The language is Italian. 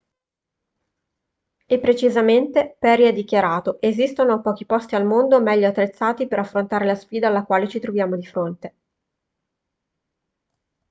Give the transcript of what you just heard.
e precisamente perry ha dichiarato esistono pochi posti al mondo meglio attrezzati per affrontare la sfida alla quale ci troviamo di fronte